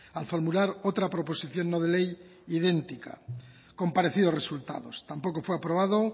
al formular otra proposición no de ley idéntica con parecido resultado tampoco fue aprobado